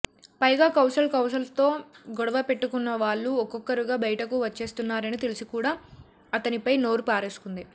పైగా కౌశల్ కౌశల్తో గొడవ పెట్టుకున్న వాళ్లు ఒక్కొక్కరుగా బయటకు వచ్చేస్తున్నారని తెలిసికూడా అతనిపై నోరు పారేసుకుంది